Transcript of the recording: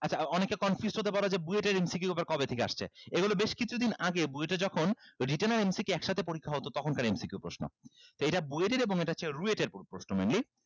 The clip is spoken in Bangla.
আচ্ছা অনেকে confused হতে পারো যে BUET এর MCQ আবার কবে থেকে আসছে এইগুলো বেশ কিছুদিন আগে BUET এ যখন written আর MCQ একসাথে পরীক্ষা হতো তখনকার MCQ প্রশ্ন তো এইটা BUET এর এবং এটা হচ্ছে RUET এর প্রশ্ন mainly